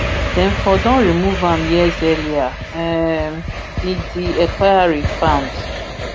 dem for don remove am years earlier um di di inquiry found